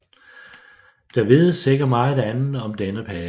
Der vides ikke meget andet om denne pave